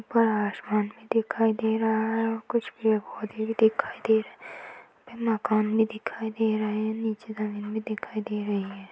ऊपर आसमान भी दिखाई दे रहा है और कुछ पेड़ -पौधे भी दिखाई दे रहे है मकान भी दिखाई दे रहा है नीचे जमीन भी दिखाई दे रही हैं।